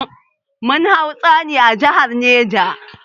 Mun hau tsauni a jihar neja.